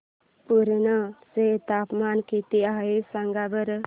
पुर्णा चे तापमान किती आहे सांगा बरं